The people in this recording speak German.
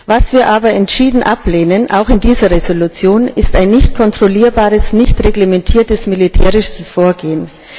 Was wir aber entschieden ablehnen, auch in dieser Entschließung, ist ein nicht kontrollierbares, nicht reglementiertes militärisches Vorgehen.